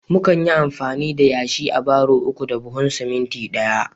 mukan yi amfani da yashi a barro uku da buhun siminti ɗaya